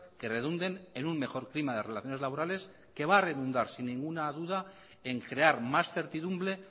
que redunden en un mejor clima de relaciones laborales que va a redundar sin ninguna duda en crear más certidumbre